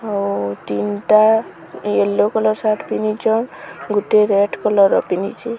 ଆଉ ତିନ୍ ଟା ୟେଲୋ କଲର୍ ସାର୍ଟ ପିନ୍ଧିଚନ୍ ଗୋଟେ ରେଡ୍ କଲର୍ ର ପିନ୍ଧିଚି।